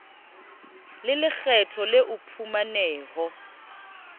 le lekgetho le o phumaneho